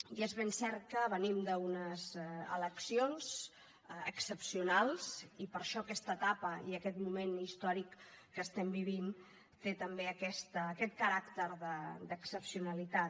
i és ben cert que venim d’unes eleccions excepcionals i per això aquesta etapa i aquest moment històric que estem vivint té també aquest caràcter d’excepcionalitat